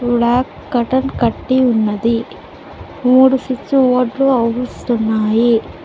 Cotton కట్టి ఉన్నది మూడు స్విచ్ బోర్డు లు అవిపిస్తున్నాయి.